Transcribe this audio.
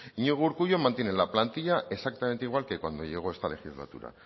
iñigo urkullu mantiene la plantilla exactamente igual que cuando llegó esta legislatura